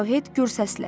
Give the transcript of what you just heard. Arohet gür səslə.